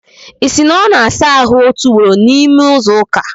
Isi! na ọ na-asa ahụ otu ugboro n'ime izu ụka?